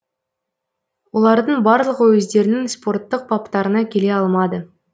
олардың барлығы өздерінің спорттық баптарына келе алмады